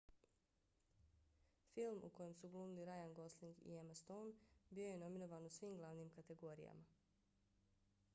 film u kojem su glumili ryan gosling i emna stone bio je nominovan u svim glavnim kategorijama